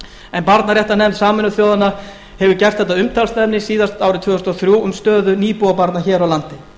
en barnaréttarnefnd sameinuðu þjóðanna hefur gert þetta að umtalsefni síðast árið tvö þúsund og þrjú um stöðu nýbúabarna hér á landi